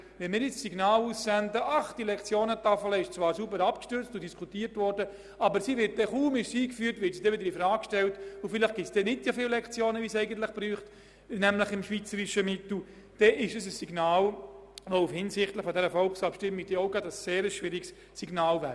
Wenn wir nun sagen, die Lektionentafel sei zwar sauber abgestützt, aber wir wollten sie, kaum sei sie eingeführt, wieder infrage stellen und vielleicht Lektionen streichen, dann würden wir im Hinblick auf diese Abstimmung ein sehr problematisches Signal aussenden.